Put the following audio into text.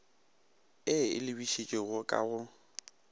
e e lebišitšego ka go